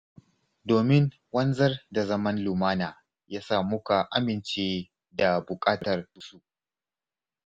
Domin wanzar da zaman lumana ya sa muka amince da buƙatarsu.